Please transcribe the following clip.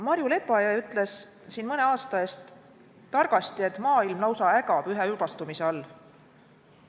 Marju Lepajõe ütles mõne aasta eest targasti, et maailm lausa ägab üheülbastumise all.